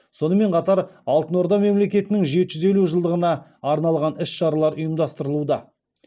сонымен қатар алтын орда мемлекетінің жеті жүз елу жылдығына арналған іс шаралар ұйымдастырылуда